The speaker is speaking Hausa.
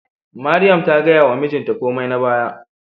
Mariam ta gaya wa mijinta komai na baya